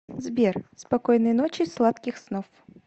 сбер спокойной ночи сладких снов